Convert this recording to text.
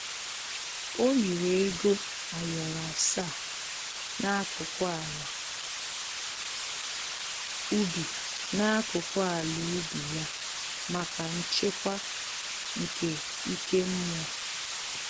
O liri ego ayoro asaa n'akụkụ ala ubi n'akụkụ ala ubi ya maka nchekwa nke ike mmụọ